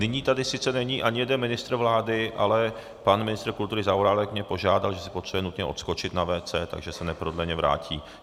Nyní tady sice není ani jeden ministr vlády, ale pan ministr kultury Zaorálek mě požádal, že si potřebuje nutně odskočit na WC, takže se neprodleně vrátí.